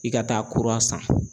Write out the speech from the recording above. I ka taa kura san